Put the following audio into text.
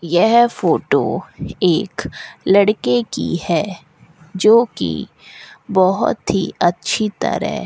यह फोटो एक लड़के की है जो की बहोत ही अच्छी तरह --